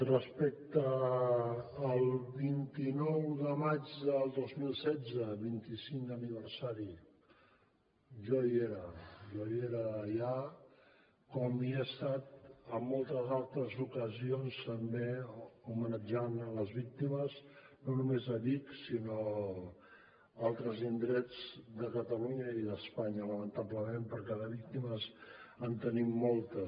respecte al vint nou de maig del dos mil setze vint i cinquè aniversari jo hi era jo era allà com he estat en moltes altres ocasions també homenatjant les víctimes no només de vic sinó d’altres indrets de catalunya i d’espanya lamentablement perquè de víctimes en tenim moltes